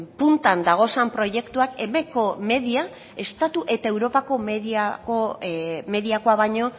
puntan dagozan proiektuak eb ko media estatu eta europako